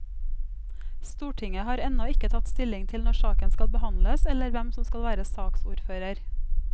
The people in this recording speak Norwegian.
Stortinget har ennå ikke tatt stilling til når saken skal behandles, eller hvem som skal være saksordfører.